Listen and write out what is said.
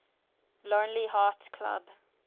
lonely hearts club